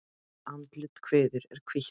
Andlit og kviður er hvítt.